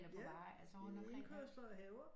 Ja i indkørsler og haver